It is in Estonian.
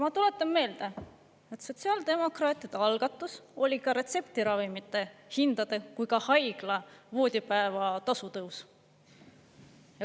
Ma tuletan meelde, et sotsiaaldemokraatide algatus oli ka nii retseptiravimite hindade kui ka haigla voodipäeva tasu tõus.